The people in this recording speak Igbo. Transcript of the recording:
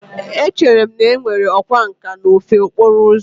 Echere m na e nwere ọkwá nkà n'ofe okporo ụzọ